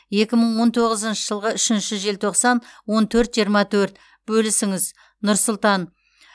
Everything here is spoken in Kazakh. екі мың он тоғызыншы жылғы үшінші желтоқсан он төрт жиырма төрт бөлісіңіз нұр сұлтан